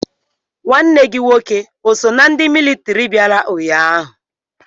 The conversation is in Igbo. Nwanne gi nwoke o so na ndi mịlịtịrị biara ụnyaahụ?